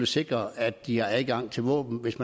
sikre at de har adgang til våben hvis